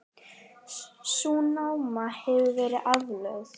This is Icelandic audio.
Sú náma hefur verið aflögð.